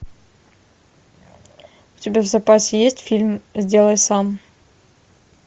у тебя в запасе есть фильм сделай сам